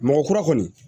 Mɔgɔ kura kɔni